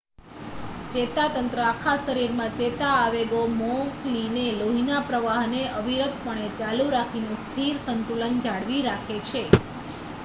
ચેતાતંત્ર આખા શરીરમાં ચેતા આવેગો મોકલીને લોહીના પ્રવાહને અવિરતપણે ચાલું રાખીને સ્થિર સંતુલન જાળવી રાખે છે